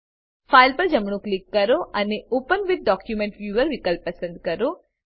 file પર જમણું click કરો અને ઓપન વિથ ડોક્યુમેન્ટ વ્યૂઅર વિકલ્પ પસંદ કરો